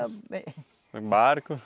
Barco?